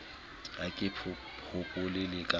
ha ke hopole le ka